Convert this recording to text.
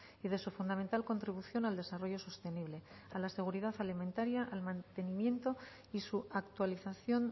y de su fundamental contribución al desarrollo sostenible a la seguridad alimentaria al mantenimiento y su actualización